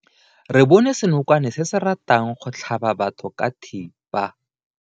Re bone senokwane se se ratang go tlhaba batho ka thipa.